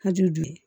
Hali bi